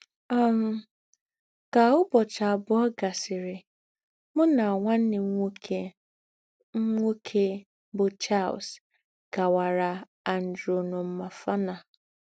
um Kà ǔbọ̀chị àbụọ̀ gàsịrị, mụ nà nwanne m nwókè m nwókè bụ́ Charles gàwàrà Andranomafana.